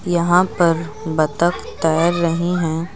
यहां पर बत्तख तैर रही हैं।